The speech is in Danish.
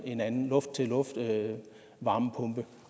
i en en luft til luft varmepumpe